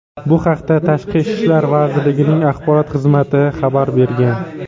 Bu haqda Tashqi ishlar vazirligining axborot xizmati xabar bergan .